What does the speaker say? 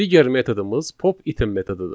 Digər metodumuz pop item metodudur.